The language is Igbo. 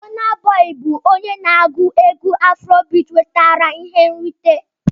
Bona Boi bụ onye na-agụ egwú Afrobiti nwetara ihe nrite.